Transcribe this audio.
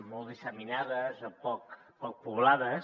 molt disseminades o poc poblades